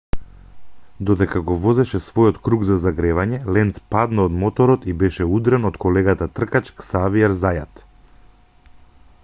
додека го возеше својот круг за загревање ленц падна од моторот и беше удрен од колегата тркач ксавиер зајат